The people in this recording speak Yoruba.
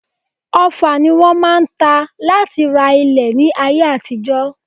Ọfà ni wọ́n máa ń ta láti ra ilẹ̀ ní ayé àtijọ́